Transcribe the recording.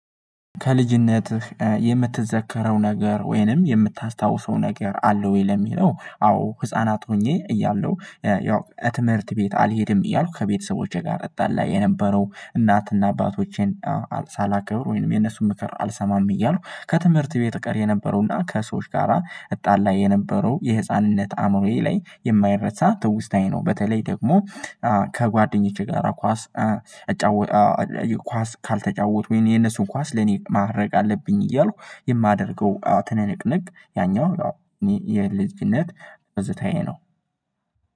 ከልጅነትህ የምትዘከረው ነገር ወይንም የምታስታውሰው ነገር አለ ወይ ለሚለው? አዎ ህፃናት ሆኜ እያለሁ ያው ትምህርት ቤት አልሄድም እያልኩ ከቤተሰቦቼ ጋር እጣላ የነበረው እናትና አባቶቼን ሳላከብር ወይንም የነሱን ምክር አልሰማም እያልኩ ከትምህርት ቤት እቀር የነበረውና ከሰዎች ጋራ እጣላ የነበረው የህፃንነት አእምሮዬ ላይ የማይረሳ ትውስታዬ ነው። በተለይ ደግሞ ከጓደኞቼ ጋር ኳስ እጫወት ኳስ ካልተጫወቱ የነሱን ኳስ ለኔ ማድረግ አለብኝ እያልኩ የማደርገው ትንቅንቅ ያኛው ነው። እኔ የልጅነት ትዝታዬ ነው